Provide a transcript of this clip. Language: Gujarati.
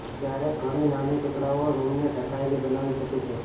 ક્યારેક ઘણી નાની ટુકડાઓ રૂમને ઢંકાયેલી બનાવી શકે છે